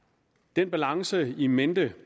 den balance in mente